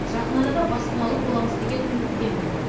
жақын арада баспаналы боламыз деген үміттемін